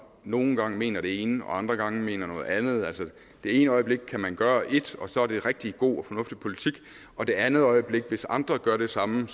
nogle gange mener det ene og andre gange mener noget andet det ene øjeblik kan man gøre et og så er det rigtig god og fornuftig politik og det andet øjeblik hvis andre gør det samme